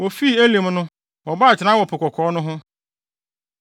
Wofii Elim no, wɔbɔɔ atenae wɔ Po Kɔkɔɔ no ho.